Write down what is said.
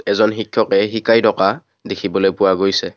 এজন শিক্ষকে শিকাই থকা দেখিবলৈ পোৱা গৈছে।